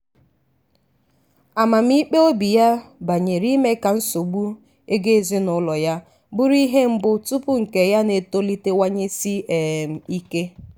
amamikpe obi ya banyere ime ka nsogbu ego ezinụlọ ya bụrụ ihe mbụ tupu nke ya na-etolitewanyesi um ike.